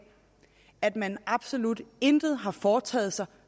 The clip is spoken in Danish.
at man absolut intet har foretaget sig